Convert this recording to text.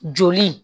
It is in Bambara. Joli